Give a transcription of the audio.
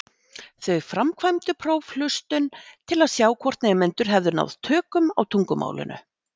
Þau framkvæmdu prófhlustun til að sjá hvort nemendur hefðu náð tökum á tungumálinu.